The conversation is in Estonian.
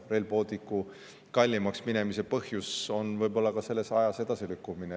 Rail Balticu kallimaks minemise põhjus võib olla ka selle ajas edasilükkumine.